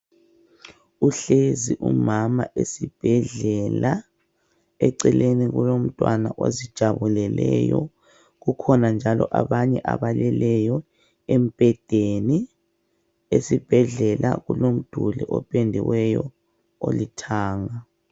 Uhlezi umama esibhedlela eceleni kulomntwana ozijabuleleyo. kukhona njalo abanye abaleleyo embhedeni .Esibhedlela kulomduli opendiweyo olithanga.